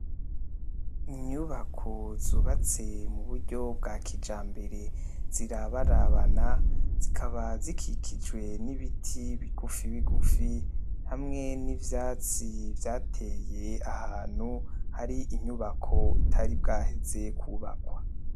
Inyubako zubatse muburyo bwa kijambere zirabarabana , zikaba zikikijwe n'ibiti bigufi bigufi , hamwe n'ivyatsi vyateye ahantu, hari inyubako itari bwaheze kwubakwa.